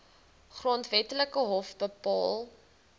grondwetlike hof bepaal